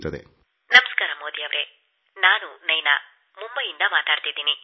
ನಮಸ್ಕಾರ ಪ್ರಧಾನಮಂತ್ರಿ ಮೋದಿ ಅವರೇ ನಾನು ನೈನಾ ಮುಂಬೈಯಿಂದ ಮಾತಾಡುತ್ತಿದ್ದೇನೆ